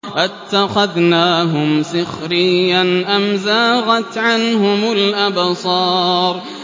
أَتَّخَذْنَاهُمْ سِخْرِيًّا أَمْ زَاغَتْ عَنْهُمُ الْأَبْصَارُ